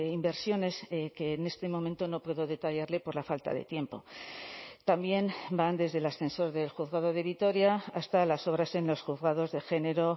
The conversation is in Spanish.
inversiones que en este momento no puedo detallarle por la falta de tiempo también van desde el ascensor del juzgado de vitoria hasta las obras en los juzgados de género